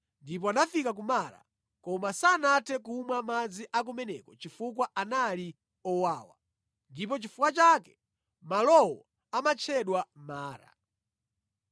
Ndipo anafika ku Mara. Koma sanathe kumwa madzi akumeneko chifukwa anali owawa. (Ndi chifukwa chake malowo amatchedwa Mara).